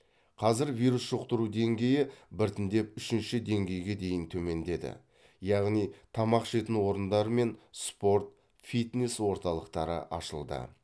қазір вирус жұқтыру деңгейі біртіндеп үшінші деңгейге дейін төмендеді яғни тамақ ішетін орындар мен спорт фитнес орталықтары ашылды